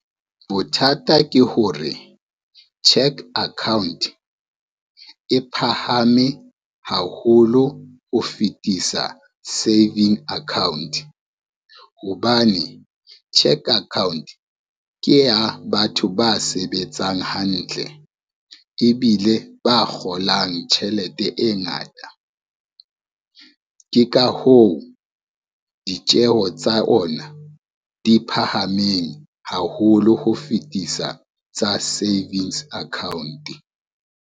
Bothata ke hore cheque account, e phahame haholo ho fetisa saving account. Hobane cheque account ke ya batho ba sebetsang hantle ebile ba kgolang tjhelete e ngata. Ke ka hoo ditjeho tsa ona di phahameng haholo ho fetisa tsa savings account.